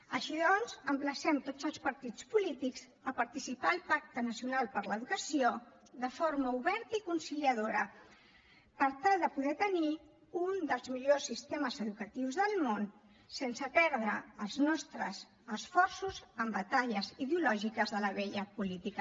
així doncs emplacem tots els partits polítics a participar al pacte nacional per a l’educació de forma oberta i conciliadora per tal de poder tenir un dels millors sistemes educatius del món sense perdre els nostres esforços en batalles ideològiques de la vella política